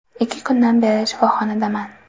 Ikki kundan beri shifoxonadaman”.